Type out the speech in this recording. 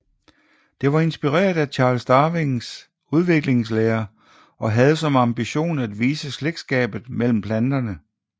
Det var inspireret af Charles Darwins udviklingslære og havde som ambition at vise slægtskabet mellem planterne